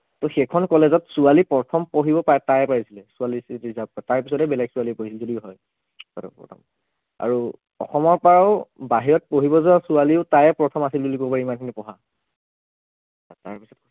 ত সেইখন college ত ছোৱালী প্ৰথম পঢ়িব পায় তাইয়েই পাৰিছিলে ছোৱালীৰ seat reserved তাৰ পাছতহে বেলেগ ছোৱালীয়ে পঢ়িছিল যদিও হয় আৰু অসমৰ পৰাও বাহিৰত পঢ়িব যোৱা ছোৱালীও তাইয়েই প্ৰথম আছিল বুলি কব পাৰি ইমানখিনি পঢ়া